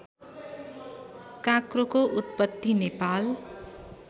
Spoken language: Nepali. काँक्रोको उत्पत्ति नेपाल